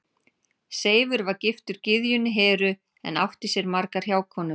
Seifur var giftur gyðjunni Heru en átti sér margar hjákonur.